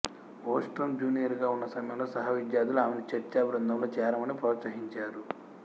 Ostrom జూనియరుగా ఉన్నసమయంలో సహవిద్యార్ధులు ఆమెను చర్చా బృందంలో చేరమని ప్రోత్సహించారు